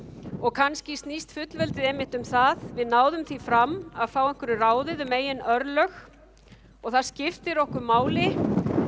kannski snýst fullveldið einmitt um það við náðum því fram að fá einhverju ráðið um eigin örlög og það skiptir okkur máli